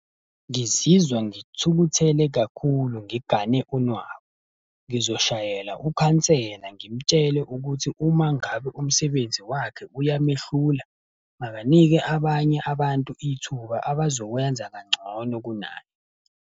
Ngizizwa ngithukuthele kakhulu ngigane unwabu. Ngizoshayela ukhansela ngimtshele ukuthi umangabe umsebenzi wakhe uyamehlula, abanike abanye abantu ithuba abazowenza kangcono kunaye.